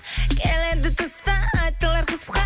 келеді тыстан айтылар қысқа